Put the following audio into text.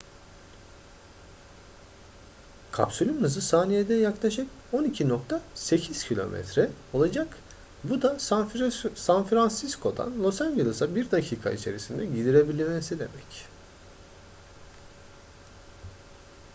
kapsülün hızı saniyede yaklaşık 12.8 km olacak bu da san francisco'dan los angeles'a bir dakika içerisinde gidebilmesi demek